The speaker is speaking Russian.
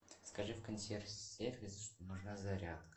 скажи в консьерж сервис что нужна зарядка